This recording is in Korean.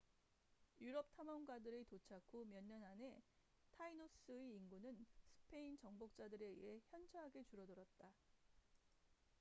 유럽 탐험가들의 도착 후 몇 년 안에 타이노스tainos의 인구는 스페인 정복자들에 의해 현저하게 줄어들었다